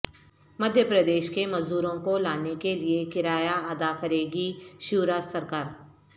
مدھیہ پردیش کے مزدوروں کو لانے کے لئے کرایہ ادا کرے گی شیوراج سرکار